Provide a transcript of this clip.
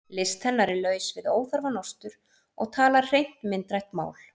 List hennar er laus við óþarfa nostur og talar hreint myndrænt mál.